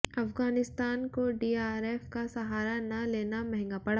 अफगानिस्तान को डीआरएस का सहारा न लेना महंगा पड़ा